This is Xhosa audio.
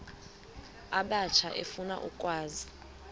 abatsha efuna ukwazi